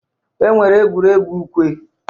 E nwere egwuregwu ukwe.